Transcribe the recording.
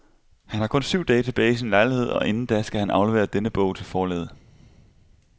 Han har kun syv dage tilbage i sin lejlighed, og inden da skal han aflevere denne bog til forlaget.